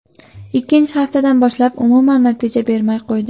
Ikkinchi haftadan boshlab umuman natija bermay qo‘ydi.